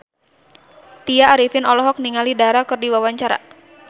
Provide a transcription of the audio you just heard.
Tya Arifin olohok ningali Dara keur diwawancara